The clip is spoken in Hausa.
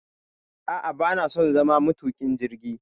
a'a bana so na zama matuƙin jirgi